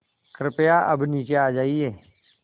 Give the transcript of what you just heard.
कृपया अब नीचे आ जाइये